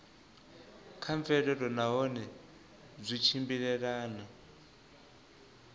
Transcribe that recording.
kha mvelelo nahone zwi tshimbilelana